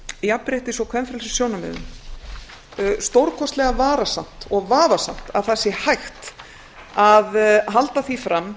jafnréttis og kvenfrelsissjónarmiðum stórkostlega varasamt og vafasamt að það sé hægt að að halda því fram